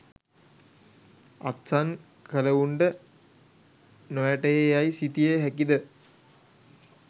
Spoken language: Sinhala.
අත්සන් කලවුන්ට නොවැටහේ යයි සිතිය හැකිද?